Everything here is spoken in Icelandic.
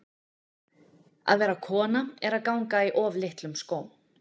Að vera kona er að ganga í of litlum skóm.